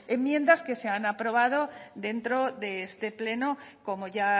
enmiendas que se han aprobado dentro de este pleno como ya